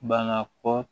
Banna kɔ